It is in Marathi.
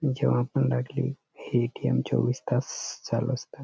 जेव्हा पण लागली हे ए.टी.एम. चोवीस तास चालू असत.